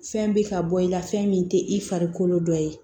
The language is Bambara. Fɛn bɛ ka bɔ i la fɛn min tɛ i farikolo dɔ ye